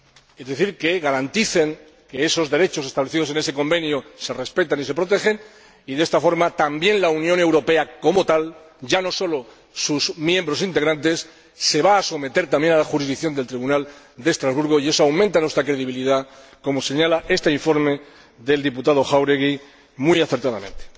Es decir, que garanticen que esos derechos establecidos en ese Convenio se respetan y se protegen y, de esta forma, también la Unión Europea como tal, ya no solo sus miembros integrantes, se va a someter a la jurisdicción del Tribunal de Estrasburgo, y eso aumenta nuestra credibilidad, como señala este informe del señor Jáuregui muy acertadamente.